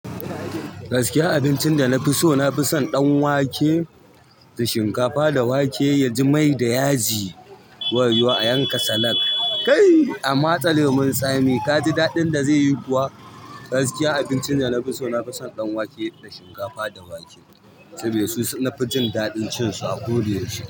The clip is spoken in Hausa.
Gaskiya abincin da na fi so, na fi son ɗan wake da shinkafa. Da wake ya ji mai da yaji, wayo a yanka salak. Kai a matsa lemon tsami kaji daɗin da zaiyi kuwa. Gaskiya abincin da na fi so, na fi son ɗanwake da shinkafa da wake. Sabida su nafi daɗin cin su a ko da yaushe.